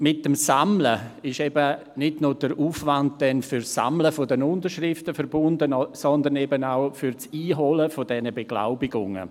Mit dem Sammeln ist nicht nur der Aufwand für das Sammeln der Unterschriften verbunden, sondern eben auch für das Einholen der Beglaubigungen.